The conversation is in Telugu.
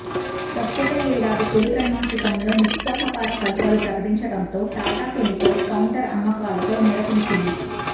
ప్రస్తుత ఏడాది తొలి త్రైమాసికంలో నిరుత్సాహకర ఫలితాలు ప్రకటించడంతో టాటా కెమికల్స్ కౌంటర్ అమ్మకాలతో నీరసించింది